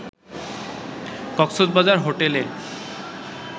Cox's Bazar hotel